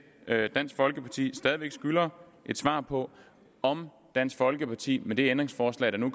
at dansk folkeparti stadig væk skylder et svar på om dansk folkeparti med det ændringsforslag der nu